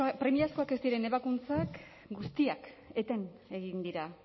premiazkoak ez diren ebakuntzak guztiak eten egin dira